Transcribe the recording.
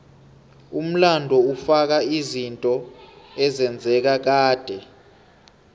umlando ufaka izinto ezenzeka kade